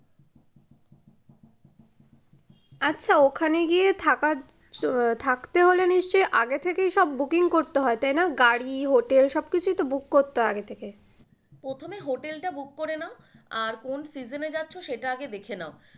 আচ্ছা ওখানে গিয়ে থাকার থাকতে হলে নিশ্চয়ই আগে থেকেই সব booking করতে হয় তাই না গাড়ি hotel সব কিছুইতো book করতে হয় আগে থেকে। প্রথমে হোটেলটা book করে নাও আর কোন season যাচ্ছ সেটা আগে দেখে নাও।